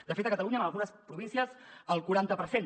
de fet a catalunya en algunes províncies el quaranta per cent